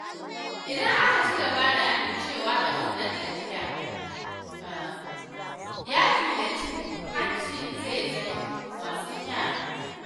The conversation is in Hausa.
Idan aka ci gaba da amincewa da wannan ɗabi’a, yaƙi da cin hanci zai zama wasan yara.